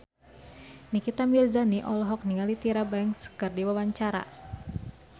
Nikita Mirzani olohok ningali Tyra Banks keur diwawancara